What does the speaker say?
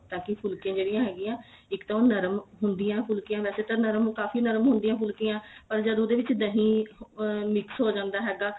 ਤਾਂ ਕੀ ਫੁਲਕੀਆਂ ਜਿਹੜੀਆਂ ਹੈਗੀਆ ਇੱਕ ਤਾਂ ਉਹ ਨਰਮ ਹੁੰਦੀਆਂ ਫੁਲਕੀਆਂ ਵੈਸੇ ਤਾਂ ਨਰਮ ਕਾਫੀ ਨਰਮ ਹੁੰਦੀਆਂ ਫੁਲਕੀਆਂ ਪਰ ਜਦ ਉਹਦੇ ਵਿੱਚ ਦਹੀ ਅਹ mix ਹੋ ਜਾਂਦਾ ਹੈਗਾ